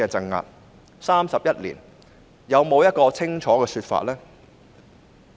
現在 ，31 年過去，有沒有清楚的說法？